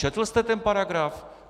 Četl jste ten paragraf?